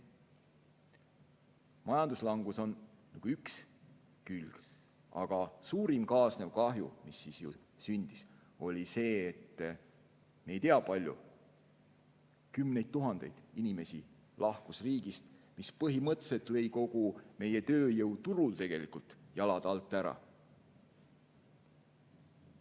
Majanduslangus on üks külg, aga suurim kaasnev kahju, mis sündis, oli see, et me ei tea, kui palju, kui mitmeid kümneid tuhandeid inimesi lahkus riigist, mis põhimõtteliselt lõi kogu meie tööjõuturul jalad alt ära.